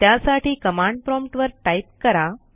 त्यासाठी command prompt वर type करा